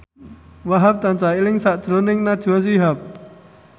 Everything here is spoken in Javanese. Wahhab tansah eling sakjroning Najwa Shihab